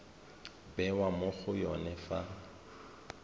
bewa mo go yone fa